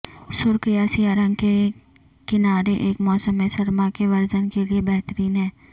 سرخ یا سیاہ رنگ کے کنارے ایک موسم سرما کے ورژن کے لئے بہترین ہے